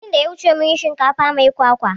Satin da ya wuce mun yi shinkafa mai kwakwa